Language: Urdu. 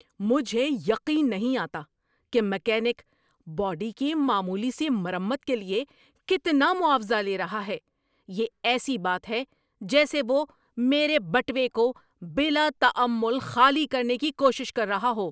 مجھے یقین نہیں آتا کہ میکینک، باڈی کی معمولی سی مرمت کے لیے کتنا معاوضہ لے رہا ہے! یہ ایسی بات ہے جیسے وہ میرے بٹوے کو بلا تامل خالی کرنے کی کوشش کر رہا ہو!